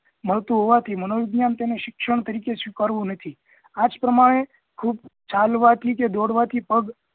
મળતું હોવા થી મનોવિજ્ઞાન તેને શિક્ષણ તરીકે તેને સ્વીકારવું નથી આજ પ્રમાણે ખુબ ચાલવાથી કે દોડવાથી પગ